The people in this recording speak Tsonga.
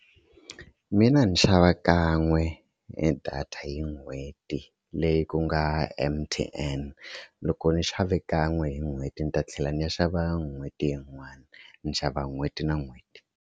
Mina ndzi xava kan'we e data hi n'hweti leyi ku nga M_T_N loko ni xave kan'we hi n'hweti ni ta tlhela ni ya xava n'hweti yin'wana ni xava n'hweti na n'hweti.